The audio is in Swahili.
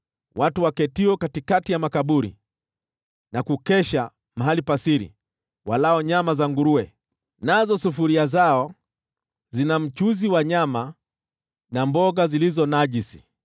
watu waketio katikati ya makaburi na kukesha mahali pa siri, walao nyama za nguruwe, nazo sufuria zao zina mchuzi wa nyama zilizo najisi,